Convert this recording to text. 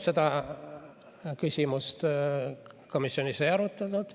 Seda küsimust komisjonis ei arutatud.